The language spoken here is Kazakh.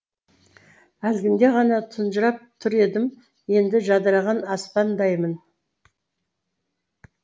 әлгінде ғана тұнжырап тұр едім енді жадыраған аспандаймын